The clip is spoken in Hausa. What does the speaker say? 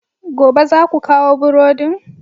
Gobe, za ku kawo burodin!